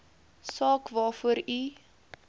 saak waarvoor u